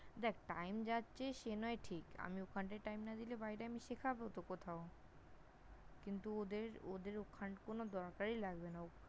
দেখ, Time যাচ্ছে সে নয় ঠিক, আমি ওখানটায় Time না দিলে বাইরে আমি শেখাব তো কোথাও, কিন্তু ওদের, ওদের ওখানে কোনো দরকারই লাগবে না।